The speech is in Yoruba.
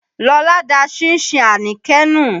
Lọlá da ṣínṣin Àníkẹ́ nù.